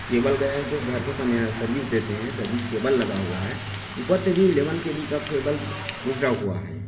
Cable गया है जो घर को नया सेर्विस देते हैं सर्विस केबल लगा हुआ है उपर से भी इलेवन के_बी का केबल गुजरा हुआ है।